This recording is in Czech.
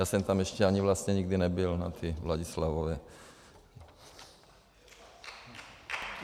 Já jsem tam ještě ani vlastně nikdy nebyl na té Vladislavově.